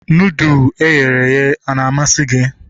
Nudụ eghere eghe ana amasị gị?